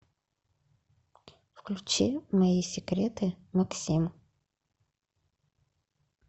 включи мои секреты максим